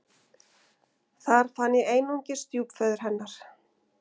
Þar fann ég einungis stjúpföður hennar.